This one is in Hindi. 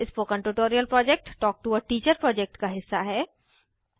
spoken tutorial project talk to a teacher project का हिस्सा है